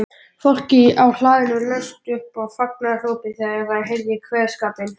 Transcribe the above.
Fólkið á hlaðinu laust upp fagnaðarópi þegar það heyrði kveðskapinn.